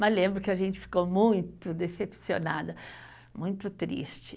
Mas lembro que a gente ficou muito decepcionada, muito triste.